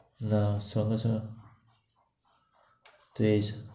না, সঙ্গে সঙ্গে। ঠিক আছে